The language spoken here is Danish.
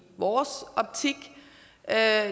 vores optik er